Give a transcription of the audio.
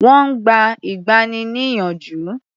Wọ́n gba ìgbani-níyànjú.